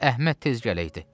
Əhməd tez gələydi.